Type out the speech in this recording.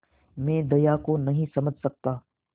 मैं दया को नहीं समझ सकता